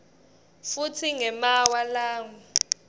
futsi ngemaawa langu